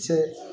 Cɛ